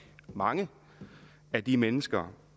mange af de mennesker